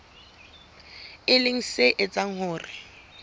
e leng se etsang hore